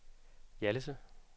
Hjallese